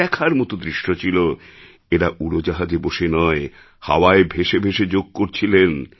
দেখার মতো দৃশ্য ছিল এঁরা উড়োজাহাজে বসে নয় হাওয়ায় ভেসে ভেসে যোগ করছিলেন